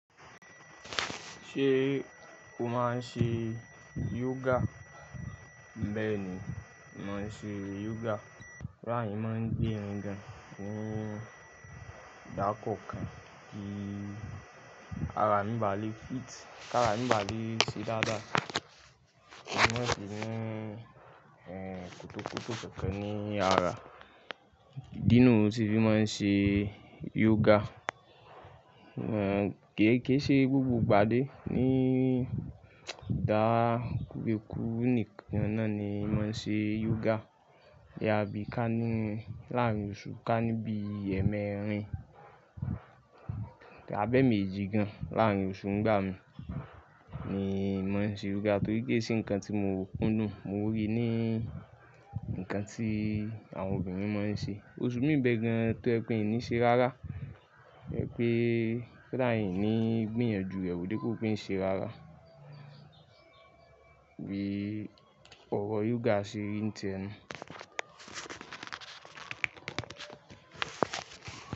Ṣé o máa ń ṣe yoga? Bẹ́ẹ̀ ni, mo màá ń ṣe yoga. Láàárín máa ń gbémi gan-an. Ní ìdákọ̀kọ̀ kí ara mi bá lè fit, kí ara mi bá lè ṣe dáadáa. Mo máa ń ṣe ní, ẹ́, kọ̀tọ́kọ̀tọ́ kánkán ni àrá. Nínú òṣù tí mo máa ń ṣe yoga, ẹ́, ke e se gbogbo ìgbádé ni ìdá ni ku níkan náà ni mo máa ń ṣe yoga. Àbí ká ní láàárín oṣù, ká ní bí ẹẹ́mẹ́rin tàbí emeji gan-an láàárín oṣù ńigbá mi ni mo máa ń ṣe yoga torí kii se nǹkan tí mo kúndùn, mo rí i ní ǹkan tí àwọn obìnrin máa ń ṣe. Oṣù mii n bẹ gan-an tó je pe mi ni ṣe rárá. Ipé koda iní gbìyànjú, ẹ wo depu pe ń ṣe rárá. Bí ọrọ̀ yoga ṣe ri ti e tẹ.